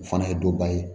O fana ye dɔba ye